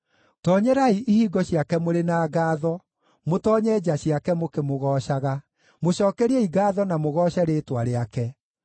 Tonyerai ihingo ciake mũrĩ na ngaatho, mũtoonye nja ciake mũkĩmũgoocaga; mũcookeriei ngaatho na mũgooce rĩĩtwa rĩake.